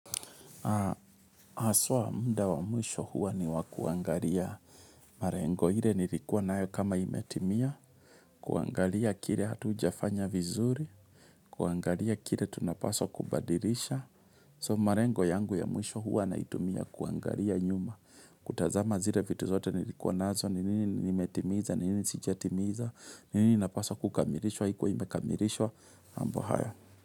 Haswa muda wa mwisho huwa ni wa kuangalia malengo ile nilikuwa nayo kama imetimia, kuangalia kile hatujafanya vizuri, kuangalia kile tunapaswa kubadilisha. So malengo yangu ya mwisho huwa naitumia kuangalia nyuma. Kutazama zile vitu zote nilikuwa nazo, ni nini nimetimiza, ni nini sijatimiza, ni nini napaswa kukamilishwa, haikuwa imekamilishwa, mambo hayo.